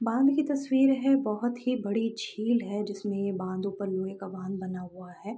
बाँध की तस्वीर है बहुत ही बड़ी झील है जिसमें बाँध ऊपर लोहे का बाँध बना हुआ है ।